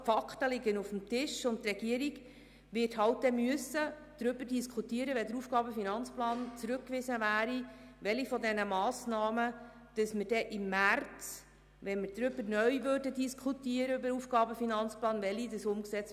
Die Fakten liegen also auf dem Tisch, und die Regierung wird im Fall einer Rückweisung halt darüber diskutieren müssen, welche dieser Massnahmen dann im März, wenn wir neu über den AFP diskutieren, umgesetzt werden müssen.